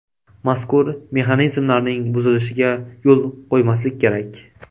Mazkur mexanizmlarning buzilishiga yo‘l qo‘ymaslik kerak.